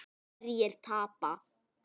Hverjir tapa?